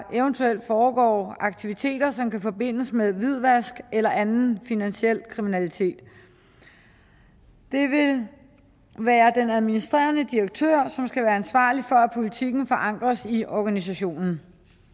eventuelt foregår aktiviteter som kan forbindes med hvidvask eller anden finansiel kriminalitet det vil være den administrerende direktør som skal være ansvarlig for at politikken forankres i organisationen